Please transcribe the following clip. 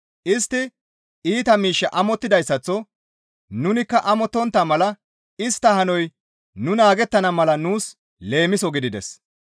Istti iita miish amottidayssaththo nunikka amottontta mala istta hanoy nu naagettana mala nuus leemiso gidides.